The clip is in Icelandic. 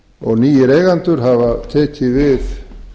og nýir eigendur hafa tekið við